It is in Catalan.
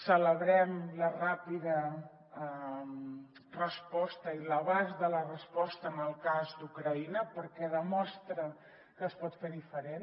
celebrem la ràpida resposta i l’abast de la resposta en el cas d’ucraïna perquè demostra que es pot fer diferent